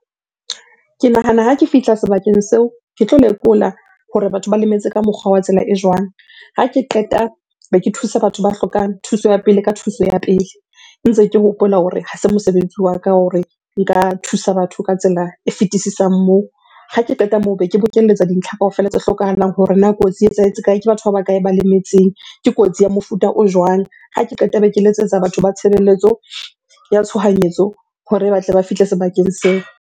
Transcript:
Ke nahana ha ke fihla sebakeng seo, ke tlo lekola hore batho ba lemetse ka mokgwa wa tsela e jwang? Ha ke qeta be ke thusa batho ba hlokang thuso ya pele ka thuso ya pele. Ntse ke hopola hore ha se mosebetsi wa ka hore nka thusa batho ka tsela e fetisisang moo. Ha ke qeta moo be ke bokelletsa dintlha kaofela tse hlokahalang hore na kotsi e etsahetse kae? Ke batho ba bakae ba lemetseng? Ke kotsi ya mofuta o jwang? Ha ke qeta be ke letsetsa batho ba tshebelletso ya tshohanyetso hore ba tle ba fihle sebakeng seo.